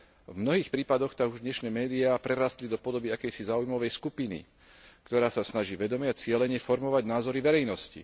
V mnohých prípadoch tak už dnešné médiá prerástli do podoby akejsi záujmovej skupiny, ktorá sa snaží vedome a cielene formovať názory verejnosti.